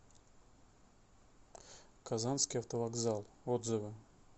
казанский автовокзал отзывы